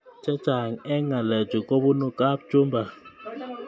Chechang eng ngalechu kobunu kapchumba